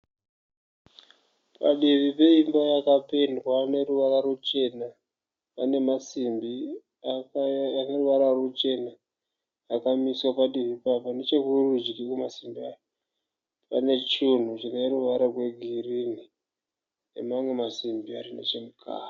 Padivi peimba yakapendwa neruvara ruchena pane masimbi ane ruvara ruchena akamiswa padivi. Nechekurudyi kwemasimbi aya pane chinhu chine ruvara rwegirinhi nemamwe masimbi ari nechemukati.